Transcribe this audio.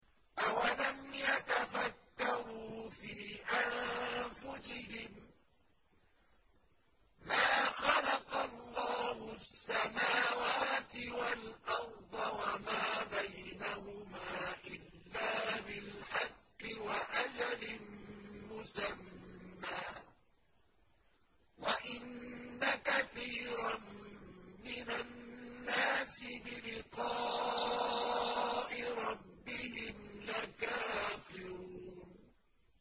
أَوَلَمْ يَتَفَكَّرُوا فِي أَنفُسِهِم ۗ مَّا خَلَقَ اللَّهُ السَّمَاوَاتِ وَالْأَرْضَ وَمَا بَيْنَهُمَا إِلَّا بِالْحَقِّ وَأَجَلٍ مُّسَمًّى ۗ وَإِنَّ كَثِيرًا مِّنَ النَّاسِ بِلِقَاءِ رَبِّهِمْ لَكَافِرُونَ